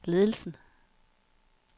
ledelsen